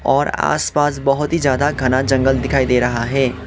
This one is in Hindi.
और आस पास बहोत ही ज्यादा घना जंगल दिखाई दे रहा है।